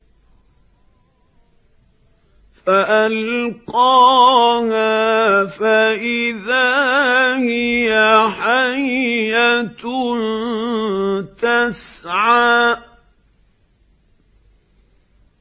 فَأَلْقَاهَا فَإِذَا هِيَ حَيَّةٌ تَسْعَىٰ